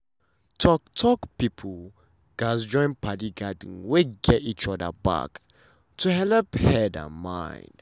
talk-talk people gatz join padi gathering wey gat each other back to helep send and mind.